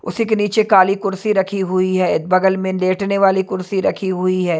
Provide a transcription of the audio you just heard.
उसी के नीचे काली कुर्सी रखी हुई है बगल में लेटने वाली कुर्सी रखी हुई है।